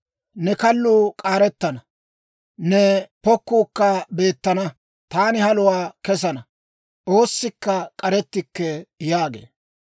Ne kalluu k'aarettana; ne pokkuukka beettana. Taani haluwaa kesana; oossikka k'arettikke» yaagee.